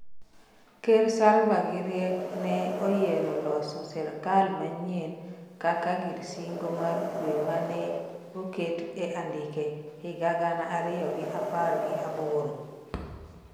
ker salva gi Riek nee oyiere loso sirikal manyien kaka gir singo mar kwe mane okete andike higa gana ariyo gi apar gi aboro